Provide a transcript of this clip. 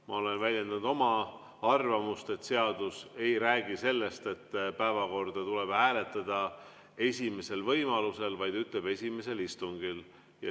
Ma olen väljendanud oma arvamust, et seadus ei räägi sellest, et päevakorda tuleb hääletada esimesel võimalusel, vaid ütleb "esimesel istungil".